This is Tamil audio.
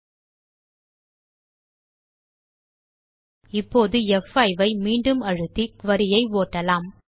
ல்ட்பாசெக்ட் இப்போது ப்5 ஐ மீண்டும் அழுத்தி குரி ஐ ஓட்டலாம்